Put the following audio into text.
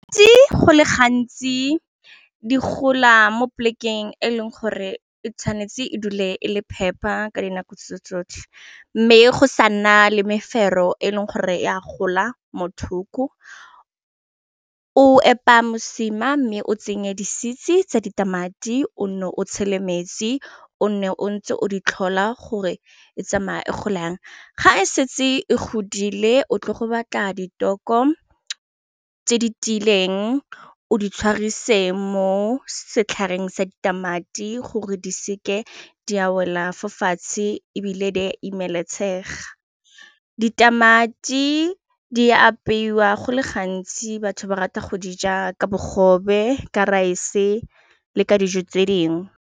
Go le gantsi di gola mo polekeng e leng gore e tshwanetse e dule e le phepa ka dinako tso tsotlhe mme go sa nna le mefero e leng gore e a gola mothoko, o epa mosima mme o tsenye di sitse tsa ditamati o nne o tshele metsi o nne o ntse o di tlhola gore e tsamaya e gola yang, ga e setse e godile o tle go batla ditoko tse di tiileng o di tshwarise mo setlhareng sa ditamati gore di seke di a wela go fatshe e bile di seke tsa imela letshega, ditamati di apeiwa go le gantsi batho ba rata go di ja ka bogobe ka raese le ka dijo tse dingwe.